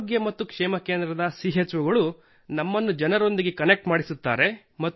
health wellness centre ನ CHOಗಳು ನಮ್ಮನ್ನು ಜನರೊಂದಿಗೆ ಕನೆಕ್ಟ್ ಮಾಡಿಸುತ್ತಾರೆ